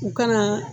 U ka na